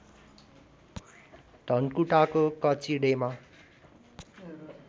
धनकुटाको कचिडेमा